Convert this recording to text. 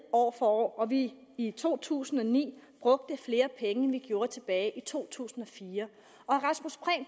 år og at vi i to tusind og ni brugte flere penge end vi gjorde tilbage i to tusind og fire